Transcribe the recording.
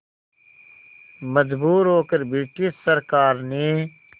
मजबूर होकर ब्रिटिश सरकार ने